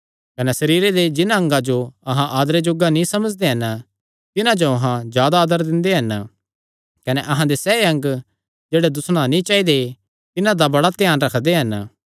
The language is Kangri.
कने सरीरे दे जिन्हां अंगा जो अहां आदरे जोग्गा नीं समझदे हन तिन्हां जो अहां जादा आदर दिंदे हन कने अहां दे सैह़ अंग जेह्ड़े दुस्सणा नीं चाइदे तिन्हां दा बड़ा ध्यान रखदे